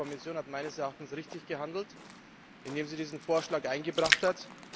Die Europäische Kommission hat meines Erachtens richtig gehandelt, indem sie diesen Vorschlag eingebracht hat.